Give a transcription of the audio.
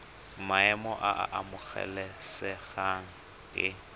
maemo a a amogelesegang ke